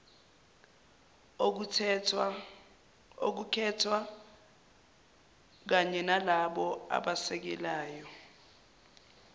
okukhethwa kanyenalabo abasekelayo